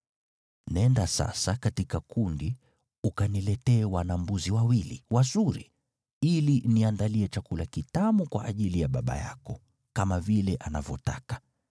Nenda sasa katika kundi ukaniletee wana-mbuzi wawili wazuri, ili niandalie chakula kitamu kwa ajili ya baba yako, kama vile anavyopenda.